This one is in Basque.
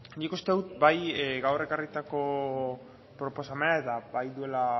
nik uste dut bai gaur ekarritako proposamena eta bai duela